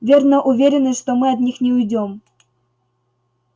верно уверены что мы от них не уйдём